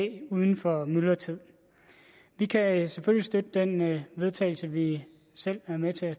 uden for myldretid vi kan selvfølgelig støtte det forslag vedtagelse vi selv er med til at